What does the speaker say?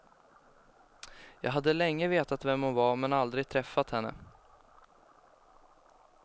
Jag hade länge vetat vem hon var men aldrig träffat henne.